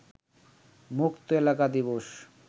মুক্ত এলাকা দিবস